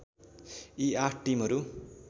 यी आठ टिमहरू